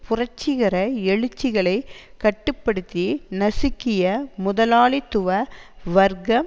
புரட்சிகர எழுச்சிகளை கட்டு படுத்தி நசுக்கிய முதலாளித்துவ வர்க்கம்